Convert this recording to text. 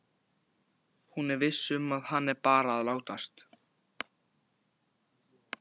Þeir horfa á eftir fuglinum og undrast hugrekki hans.